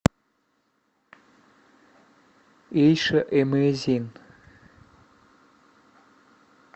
эйша эмейзин